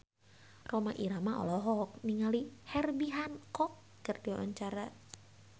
Rhoma Irama olohok ningali Herbie Hancock keur diwawancara